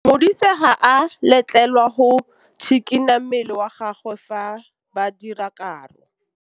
Modise ga a letlelelwa go tshikinya mmele wa gagwe fa ba dira karô.